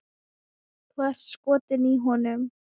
Þú ert skotin í honum!